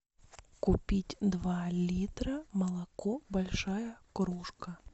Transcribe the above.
купить два литра молоко большая кружка